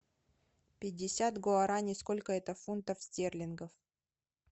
пятьдесят гуарани сколько это фунтов стерлингов